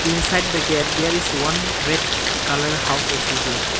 inside the gate there is one red colour house also there.